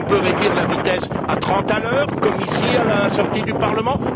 On peut réduire la vitesse à 30 km h, comme ici à la sortie du Parlement.